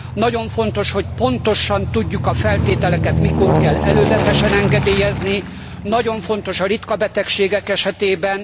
Nagyon fontos, hogy pontosan tudjuk, a feltételeket mikor kell előzetesen engedélyezni. Nagyon fontos a ritka betegségek esetében.